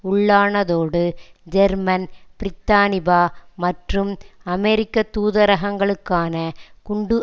உள்ளானதோடு German பிரித்தானிபா மற்றும் அமெரிக்க தூரகங்களுக்கான குண்டு